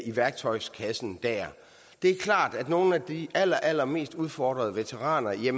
i værktøjskassen det er klart at nogle af de allerallermest udfordrede veteraner jo